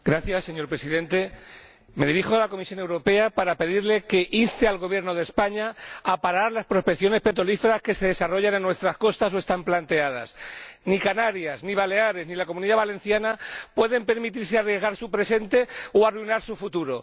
Señor Presidente, me dirijo a la Comisión Europea para pedirle que inste al Gobierno de España a parar las prospecciones petrolíferas que se desarrollan o están planteadas en nuestras costas. Ni Canarias, ni Baleares, ni la Comunidad Valenciana pueden permitirse arriesgar su presente o arruinar su futuro.